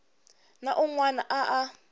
na un wana a a